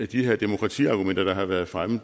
de her demokratiargumenter der har været fremme